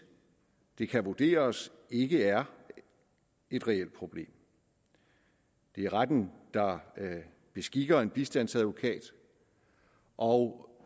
det kan vurderes ikke er et reelt problem det er retten der beskikker en bistandsadvokat og